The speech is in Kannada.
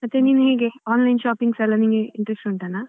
ಮತ್ತೆ ನೀವ್ ಹೀಗೆ online shopping ಎಲ್ಲ ನಿಮ್ಗೆ interest ಉಂಟಾನ?